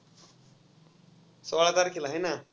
सोळा तारखेला हाय ना.